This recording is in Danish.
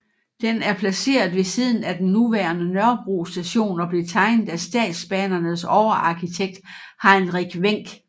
Den er placeret ved siden af den nuværende Nørrebro Station og blev tegnet af Statsbanernes overarkitekt Heinrich Wenck